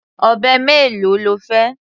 Ọ̀bẹ mélòó lo fẹ́?